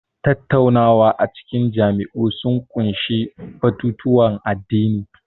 Tattaunawa a cikin majami'u sun ƙunshi batutuwan addini.